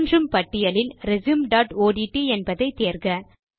தோன்றும் பட்டியலில் resume dot ஒட்ட் என்பதை தேர்க